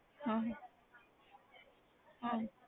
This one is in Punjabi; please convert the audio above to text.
ਹਮ ਹਮ